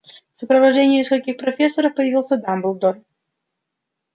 в сопровождении нескольких профессоров появился дамблдор